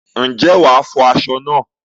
Ǹjẹ́ wàá fọ aṣọ náà?